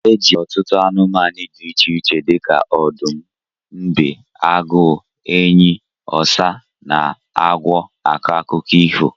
Eji ọtụtụ anumanu di iche iche dika odum, mbe, agu, enyi, osa, na agwo ako akuko ifo.